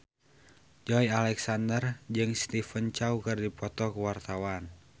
Joey Alexander jeung Stephen Chow keur dipoto ku wartawan